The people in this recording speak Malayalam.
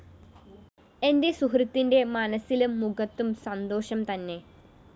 എന്റെ സുഹൃത്തിന്റെ മനസ്സിലും മുഖത്തും സന്തോഷം തന്നെ